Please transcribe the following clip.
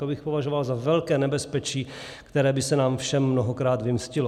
To bych považoval za velké nebezpečí, které by se nám všem mnohokrát vymstilo.